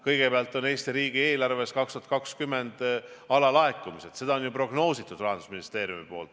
Kõigepealt on Eesti riigieelarves 2020. aastal alalaekumised, seda on ju prognoosinud Rahandusministeerium.